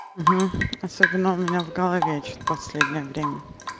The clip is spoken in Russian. особенно у меня в голове что-то последнее время